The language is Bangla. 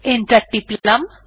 এন্টার টিপলাম